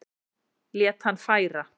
Lét hann færa